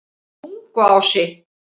Tunguási